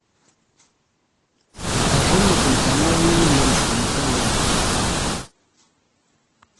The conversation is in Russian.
покажи мне телеканал ювелирочка на тв